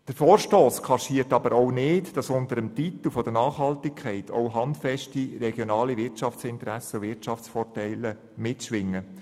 Der Vorstoss kaschiert aber nicht, dass unter dem Titel der Nachhaltigkeit auch handfeste regionale Wirtschaftsinteressen und -vorteile mitschwingen.